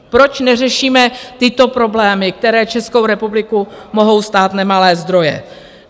Proč neřešíme tyto problémy, které Českou republiku mohou stát nemalé zdroje?